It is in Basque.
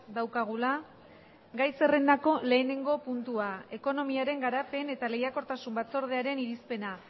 daukagula gai zerrendako lehenengo puntua ekonomiaren garapen eta lehiakortasun batzordearen irizpena